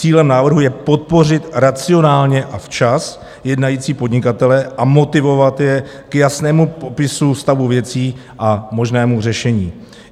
Cílem návrhu je podpořit racionálně a včas jednající podnikatele a motivovat je k jasnému popisu stavu věcí a možnému řešení.